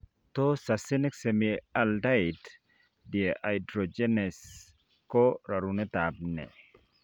Tos succinic semialdehyde dehydrogenase ko rarunetab nee